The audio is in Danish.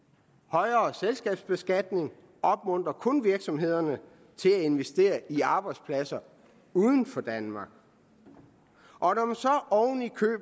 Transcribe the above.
højere selskabsbeskatning opmuntrer kun virksomhederne til at investere i arbejdspladser uden for danmark når